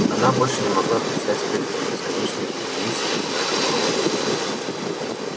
она больше не могла предстать перед этой бесконечной вереницей одинаковых роботов